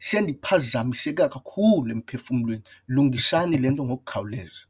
sendiphazamiseke kakhulu emphefumlweni, lungisani le nto ngokukhawuleza.